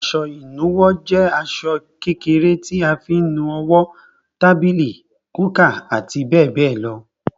Aṣọ ìnuwọ́ jẹ aṣọ kékèké tí a fi ń nu owó, tábìlì, kúkà àti bẹ́ẹ̀ bẹ́ẹ̀ lọ.